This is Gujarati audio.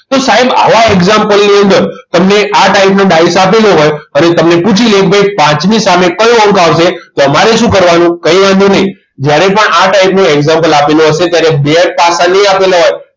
તો સાહેબ આવા example ની અંદર તમને આ type ના ડાઈસ આપેલ હોય અને તમને પૂછી લે કે ભાઈ પાંચની સામે કયો અંક આવશે તો તમારે શું કરવાનું? કંઈ વાંધો નહીં જ્યારે પણ આ type નું example આપેલ હશે ત્યારે બે પાસા નહીં આપેલા હોય